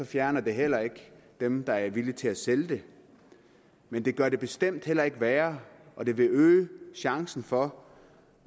fjerner det heller ikke dem der er villige til at sælge det men det gør det bestemt heller ikke værre og det vil øge chancen for